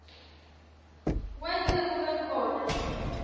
wente kube khona